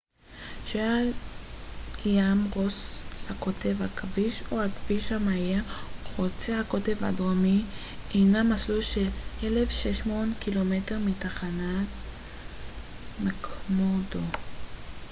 "הכביש או הכביש המהיר חוצה הקוטב הדרומי הינו מסלול של 1600 ק""מ מתחנת מקמורדו mcmurdo שעל ים רוס לקוטב.